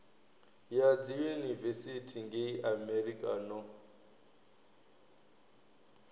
ya dziyunivesithi ngei amerika no